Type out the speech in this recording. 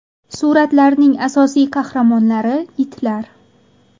Suratlarning asosiy qahramonlari itlar.